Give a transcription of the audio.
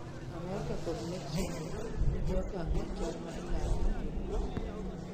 America kod Mexico nigi okang' machal ma ilaro gi jowuoth